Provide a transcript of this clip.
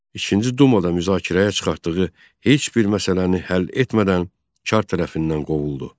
İkinci dumada müzakirəyə çıxartdığı heç bir məsələni həll etmədən çar tərəfindən qovuldu.